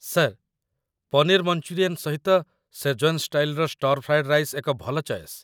Sir, paneer Manchurian ସହିତ Szechuan ଷ୍ଟାଇଲ୍‌ର stir fried rice ଏକ ଭଲ ଚଏସ୍ ।